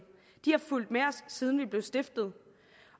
de har fulgt med os siden vi blev stiftet